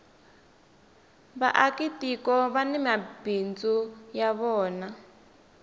vaaka tiko vani mabindzu ya vona